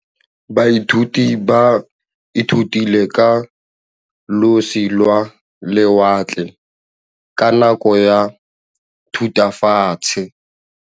Baithuti ba ithutile ka losi lwa lewatle ka nako ya Thutafatshe.